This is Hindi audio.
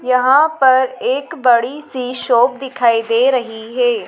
यहां पर एक बड़ी सी शॉप दिखाई दे रही है।